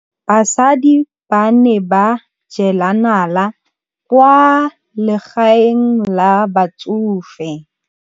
Basadi ba ne ba jela nala kwaa legaeng la batsofe.